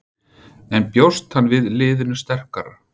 En bjóst hann við liðinu sterkara?